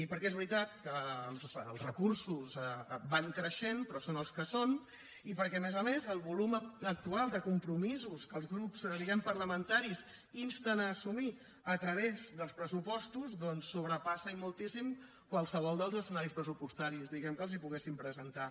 perquè és veritat que els recursos van creixent però són els que són i perquè a més a més el volum actual de compromisos que els grups diguem ne parlamentaris insten a assumir a través dels pressupostos doncs sobrepassa i moltíssim qualsevol dels escenaris pressupostaris que els poguéssim presentar